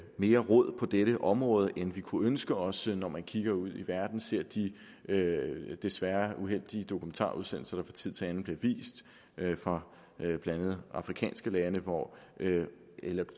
mere rod på dette område end vi kunne ønske os at se når vi kigger ud i verden og ser de desværre uheldige dokumentarudsendelser tid til anden bliver vist fra blandt andet afrikanske lande hvor